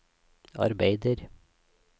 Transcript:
arbeider